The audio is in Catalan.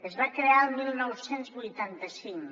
es va crear el dinou vuitanta cinc